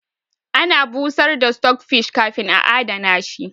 Ana busar da stockfish kafin a adana shi